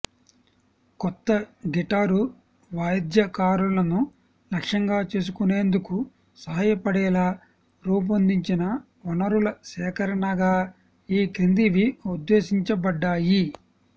కొత్త గిటారు వాద్యకారులను లక్ష్యంగా చేసుకునేందుకు సహాయపడేలా రూపొందించిన వనరుల సేకరణగా ఈ క్రిందివి ఉద్దేశించబడ్డాయి